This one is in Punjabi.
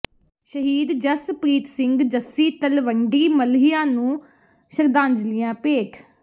ਸ਼ਹੀਦ ਜਸਪ੍ਰੀਤ ਸਿੰਘ ਜੱਸੀ ਤਲਵੰਡੀ ਮੱਲ੍ਹੀਆਂ ਨੂੰ ਸ਼ਰਧਾਂਜਲੀਆਂ ਭੇਟ